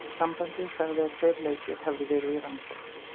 Sambandið sagði að tveir leikir hafi verði í rannsókn.